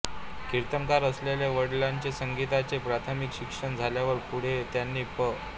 कीर्तनकार असलेल्या वडिलांकडे संगीताचे प्राथमिक शिक्षण झाल्यावर पुढे त्यांनी पं